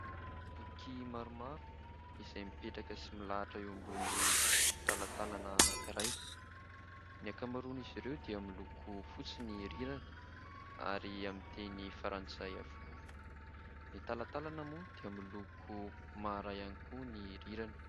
Boky maromaro izay mipetraka sy milahitra eo ambony talatalana anankiray. Ny ankamaroan' izy ireo dia miloko fotsy ny rirany ary amin'ny teny frantsay avokoa. Ny talatalana moa dia miloko maharay ihany koa ny rirany.